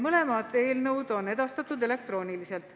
Mõlemad eelnõud on edastatud elektrooniliselt.